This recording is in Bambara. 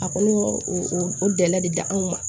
A kɔni y'o o dɛla de da anw ma